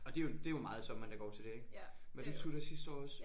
Og det er jo det er jo meget af sommeren der går til det ik. Var du tutor sidste år også?